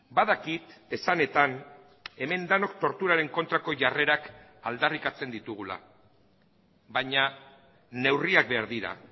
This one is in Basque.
badakit esanetan hemen denok torturaren kontrako jarrerak aldarrikatzen ditugula baina neurriak behar dira